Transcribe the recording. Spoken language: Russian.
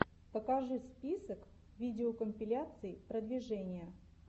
покажи список видеокомпиляций продвижения